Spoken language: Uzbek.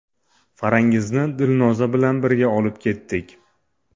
Farangizni Dilnoza bilan birga olib ketdik.